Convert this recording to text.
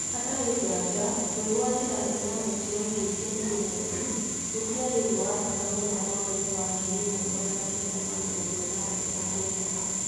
Hatarĩ nganja, kwĩgwatĩra thĩ na weji wa indo iria irĩ mweri gũtiarĩ ũndũ wa bata mũno mwaka-inĩ wa ngiri ĩmwe magana kenda ma mirongo ĩtandatũ na kenda.